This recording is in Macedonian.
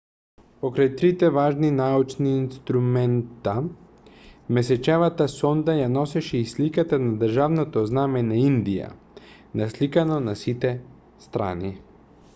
покрај трите важни научни инструмента месечевата сонда ја носеше и сликата на државното знаме на индија насликано на сите страни